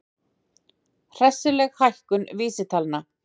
Hressileg hækkun vísitalna